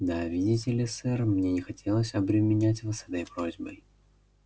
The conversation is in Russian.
да видите ли сэр мне не хотелось обременять вас этой просьбой